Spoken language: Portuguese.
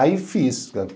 Aí fiz.